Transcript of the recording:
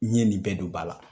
N ɲe nin bɛɛ don ba la.